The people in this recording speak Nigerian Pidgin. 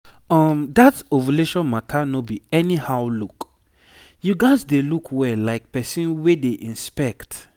um that ovulation matter no be anyhow look you gats dey look well like person wey dey inspect